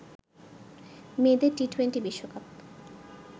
মেয়েদের টি-টোয়েন্টি বিশ্বকাপ